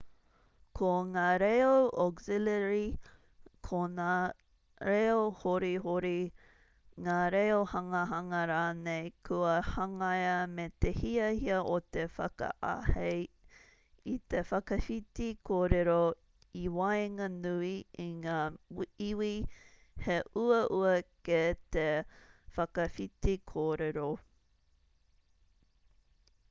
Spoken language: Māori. ko ngā reo auxiliary ko ngā reo horihori ngā reo hangahanga rānei kua hangaia me te hiahia o te whakaahei i te whakawhiti kōrero i waenganui i ngā iwi he uaua kē te whakawhiti kōrero